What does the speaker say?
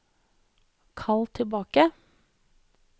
kall tilbake